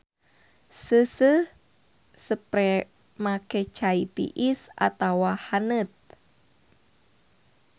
Seuseuh sepremake cai tiis atawa haneut.